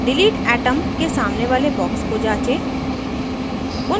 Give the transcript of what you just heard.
delete atom के सामने वाले box को जाँचें